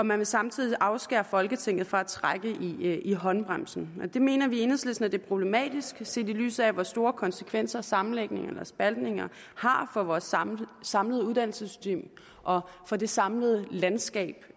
man vil samtidig afskære folketinget fra at trække i håndbremsen og det mener vi i enhedslisten er problematisk set i lyset af hvor store konsekvenser sammenlægninger og spaltninger har for vores samlede samlede uddannelsessystem og for det samlede landskab